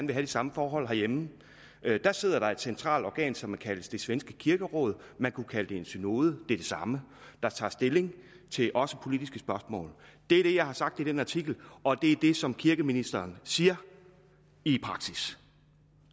de samme forhold herhjemme at dér sidder der et centralt organ som kaldes det svenske kirkeråd man kunne kalde det for en synode det er det samme der tager stilling til også politiske spørgsmål det er det jeg har sagt i den artikel og det er det som kirkeministeren siger i praksis